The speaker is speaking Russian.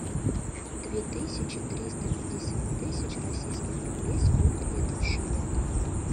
две тысячи триста пятьдесят тысяч российских рублей сколько это в шиллингах